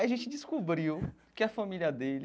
Aí a gente descobriu que a família dele